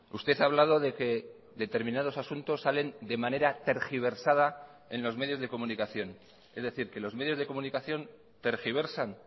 usted ha hablado de que determinados asuntos salen de manera tergiversada en los medios de comunicación es decir que los medios de comunicación tergiversan